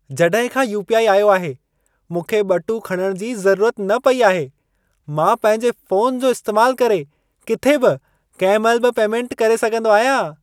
जॾहिं खां UPI. आयो आहे, मूंखे ॿटूं खणण जी ज़रूरत न पई आहे। मां पंहिंजे फोन जो इस्तैमालु करे, किथे बि कंहिं महिल बि पेमेंट करे सघंदो आहियां।